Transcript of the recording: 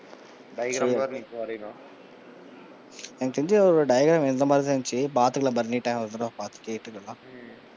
Diagram வேற இன்னைக்கு வரையணும். எனக்கு தெரிஞ்சு ஒரு diagram இந்த மாதிரி தான் இருந்துச்சு பாத்துக்கலாம் பரணிட்ட ஒரு தடவை பாத்து கேட்டுக்கலாம்.